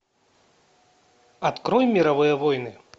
открой мировые войны